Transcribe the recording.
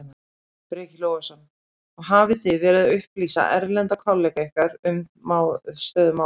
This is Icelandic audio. Breki Logason: Og hafið þið verið að upplýsa erlenda kollega ykkar um, um stöðu mála?